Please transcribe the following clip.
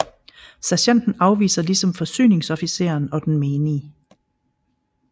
Sergenten afviser ligesom forsyningsofficeren og den menige